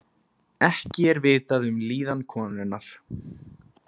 Ekki er vitað um líðan konunnar